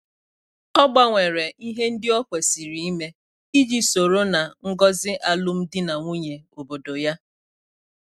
Ọ gbanwere ihe ndị o kwesịrị ime iji soro ná ngọzi alum dị na nwunye obodo ya